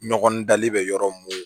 Ɲɔgɔn dali bɛ yɔrɔ mun